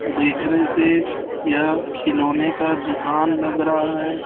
देखने से यह खिलौने का दुकान लग रहा है।